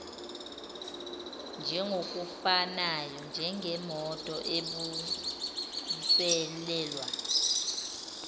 injengokufanayo njengemoto ebuyiselelwa